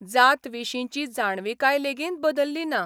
जात विशींची जाणविकाय लेगीत बदल्ली ना.